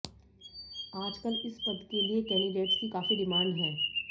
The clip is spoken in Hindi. आजकल इस पद के लिए कैंडिडेट्स की काफी डिमांड है